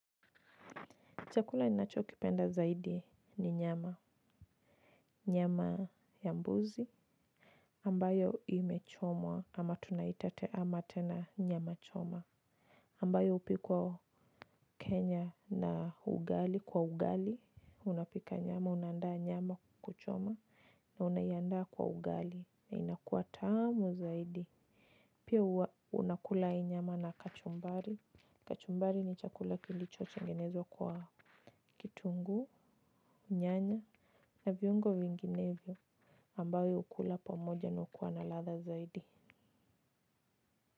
Chakula ninachokipenda zaidi ni nyama. Nyama ya mbuzi. Ambayo imechomwa ama tunaita ama tena nyama choma. Ambayo hupikwa Kenya na ugali kwa ugali. Unapika nyama, unaandaa nyama kuku choma. Na unaiaandaa kwa ugali. Na inakuwa tamu zaidi. Pia huwa unakula hii nyama na kachumbari. Kachumbari ni chakula kilichochotengenezwa kwa kitunguu, nyanya. Na viungo vinginevyo ambayo hukula pamoja na hukuwa na ladha zaidi.